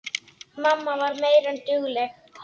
Mamma var meira en dugleg.